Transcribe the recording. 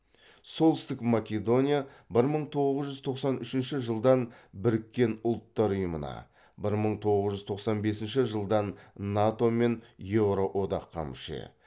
солтүстік македония бір мың тоғыз жүз тоқсан үшінші жылдан біріккен ұлттар ұйымына бір мың тоғыз жүз тоқсан бесінші жылдан нато мен еуро одаққа мүше